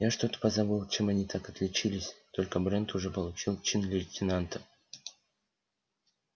я что-то позабыл чем они так отличились только брент уже получил чин лейтенанта